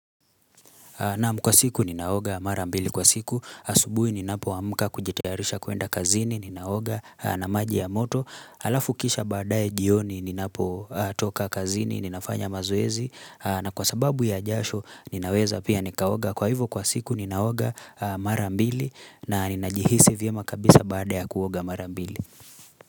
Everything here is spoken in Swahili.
Naam kwa siku ninaoga marambili kwa siku, asubuhi ni napo amka kujitayarisha kuenda kazini, ninaoga na maji ya moto, alafukisha baadae jioni ni napo toka kazini, ninafanya mazoezi, na kwa sababu ya jasho ninaweza pia nikaoga, kwa hivo kwa siku ninaoga marambili na ninajihisi vyema kabisa baada ya kuoga marambili.